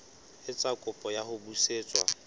etsa kopo ya ho busetswa